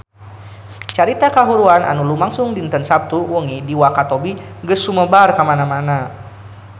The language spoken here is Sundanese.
Carita kahuruan anu lumangsung dinten Saptu wengi di Wakatobi geus sumebar kamana-mana